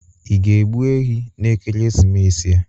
Ị ga-egbụ ehi n'ekeresimesi a